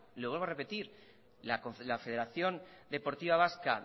le vuelvo a repetir la federación deportiva vasca